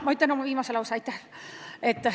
Ma ütlen oma viimase lause.